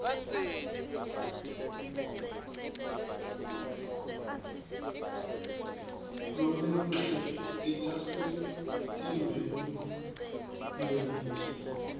lomuhle titasemtimbeni munye